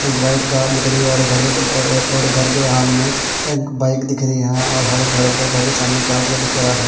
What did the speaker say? एक white car दिख रही हैं और घर के अ और घर के हाल में एक बाइक दिख रही हैं और हर घर के घर के सामने क्या दिख रहा हैं।